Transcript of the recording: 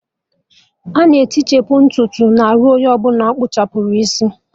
Ana etichapu ntutu n'arụ onye ọbụla akpụrụ isi